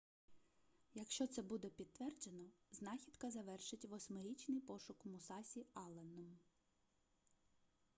якщо це буде підтверджено знахідка завершить восьмирічний пошук мусасі алленом